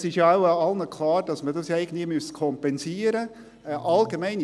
Es ist ja wohl allen klar, dass man das irgendwie kompensieren müsste.